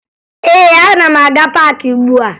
Ee, ana m aga paakị ugbua